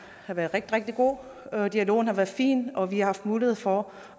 har været rigtig rigtig god dialogen har været fin og vi har haft mulighed for